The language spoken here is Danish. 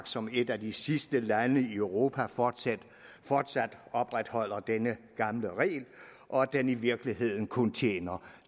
som et af de sidste lande i europa fortsat fortsat opretholder denne gamle regel og at den i virkeligheden kun tjener